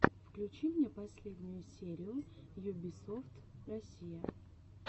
включи мне последнюю серию юбисофт россия